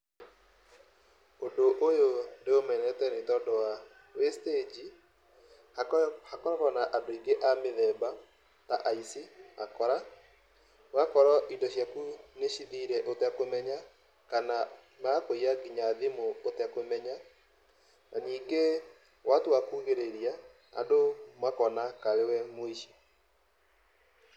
Ũndũ ũyũ ndĩũmenete nĩ tondũ wa, wĩ stage , hakoragwo na andũ aingĩ a mĩthemba ta aici, akora. Ũgakora indo ciaku nĩ cithire ũtekũmenya, kana magakũiya nginya thimũ ũtekũmenya, na nyingĩ watua kuugĩrĩria andũ makona karĩwe mũici.